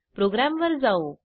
प्रोग्रॅमवर जाऊ